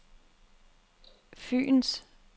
Fyens